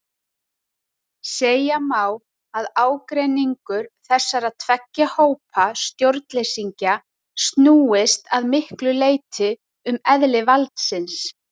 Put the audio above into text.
Segja má að ágreiningur þessara tveggja hópa stjórnleysingja snúist að miklu leyti um eðli valdsins.